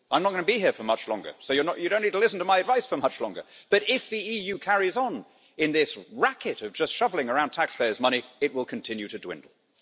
I'm not going to be here for much longer, so you do not need to listen to my advice for much longer, but if the EU carries on in this racket of just shuffling around taxpayers' money, it will continue to dwindle.